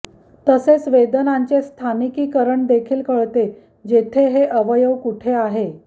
तसेच वेदनांचे स्थानिकीकरण देखील कळते जेथे हे अवयव कुठे आहे